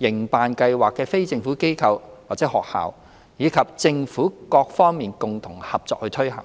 營辦計劃的非政府機構或學校，以及政府各方共同合作推行。